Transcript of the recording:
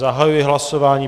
Zahajuji hlasování.